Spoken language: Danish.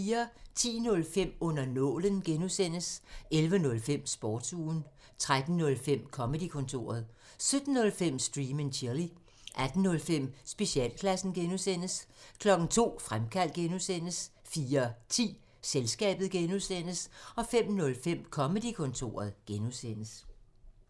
10:05: Under nålen (G) 11:05: Sportsugen 13:05: Comedy-kontoret 17:05: Stream and chill 18:05: Specialklassen (G) 02:00: Fremkaldt (G) 04:10: Selskabet (G) 05:05: Comedy-kontoret (G)